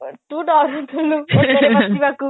ତୁ ଡରୁଥିଲୁ ଅଟାରେ ବସିବାକୁ